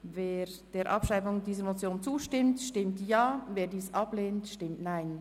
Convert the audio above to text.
Wer der Abschreibung dieser Motion zustimmt, stimmt Ja, wer dies ablehnt, stimmt Nein.